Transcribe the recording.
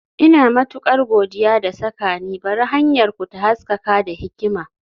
Ina matukar godiya da saka ni, Bari hanyarku ta haskaka da hikima.